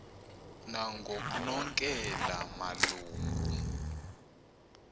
nangoknonkela malu ngu